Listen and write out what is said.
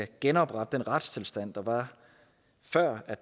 genoprette den retstilstand der var før